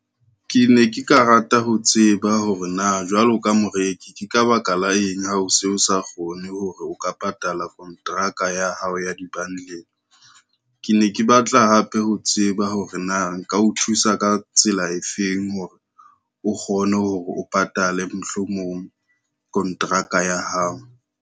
Ke ne ke ka rata ho tseba hore na jwalo ka moreki, ke ka baka la eng ha o se o sa kgone hore o ka patala kontraka ya hao ya di-bundle. Ke ne ke batla hape ho tseba hore na nka o thusa ka tsela efeng hore o kgone hore o patale mohlomong kontraka ya hao.